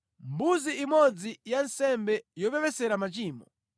mbuzi imodzi ya nsembe yopepesera machimo;